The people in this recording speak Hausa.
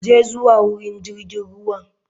Je zuwa wurin jirgin ruwa.